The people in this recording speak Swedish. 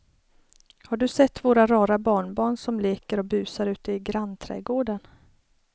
Har du sett våra rara barnbarn som leker och busar ute i grannträdgården!